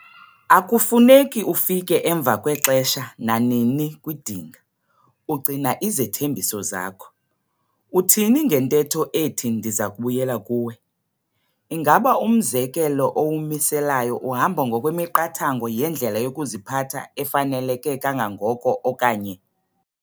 Akufuneki ufike emva kwexesha nanini kwidinga, ugcina izithembiso zakho, uthini ngentetho ethi ndiza kubuyela kuwe? Ingaba umzekelo owumiselayo uhamba ngokwemiqathango yendlela yokuziphatha efaneleke kangangoko okanye?